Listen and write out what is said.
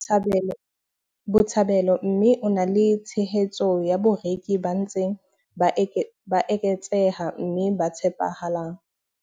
Botshabelo mme o na le tshehetso ya bareki ba ntseng ba eketseha mme ba tshepahalang.